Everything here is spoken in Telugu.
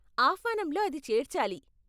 ఆహ్వానంలో అది చేర్చాలి.